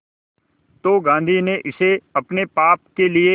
तो गांधी ने इसे अपने पाप के लिए